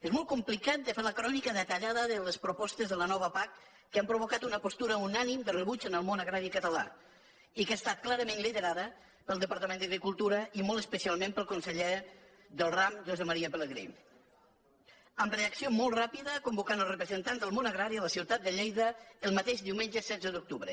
és molt complicat de fer la crònica detallada de les propostes de la nova pac que han provocat una postura unànime de rebuig en el món agrari català i que ha estat clarament liderada pel departament d’agricultura i molt especialment pel conseller del ram josep maria pelegrí amb reacció molt ràpida convocant els representants del món agrari a la ciutat de lleida el mateix diumenge setze d’octubre